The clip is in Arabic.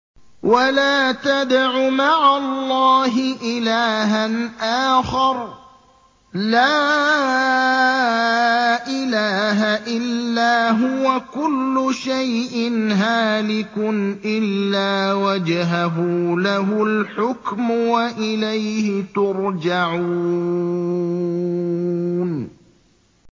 وَلَا تَدْعُ مَعَ اللَّهِ إِلَٰهًا آخَرَ ۘ لَا إِلَٰهَ إِلَّا هُوَ ۚ كُلُّ شَيْءٍ هَالِكٌ إِلَّا وَجْهَهُ ۚ لَهُ الْحُكْمُ وَإِلَيْهِ تُرْجَعُونَ